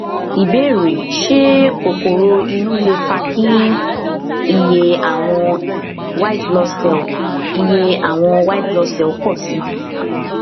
ìbéèrè ṣé kokoro inú lè fa kí iye àwọn wbc iye àwọn wbc pọ sí i